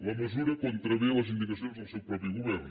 la mesura contravé les indicacions del seu mateix govern